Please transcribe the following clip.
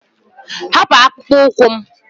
Hapụ akpụkpọ ụkwụ m!